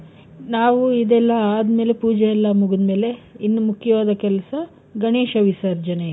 ನಾವು ಇದೆಲ್ಲ ಆದ್ಮೇಲೆ ಪೂಜೆ ಎಲ್ಲಾ ಮುಗಿದ್ಮೇಲೆ ಇನ್ನು ಮುಖ್ಯವಾದ ಕೆಲ್ಸ ಗಣೇಶ ವಿಸರ್ಜನೆ.